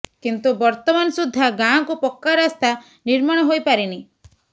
କିନ୍ତୁ ବର୍ତମାନ ସୁଦ୍ଧା ଗାଁକୁ ପକ୍କା ରାସ୍ତା ନିର୍ମାଣ ହୋଇପାରିନି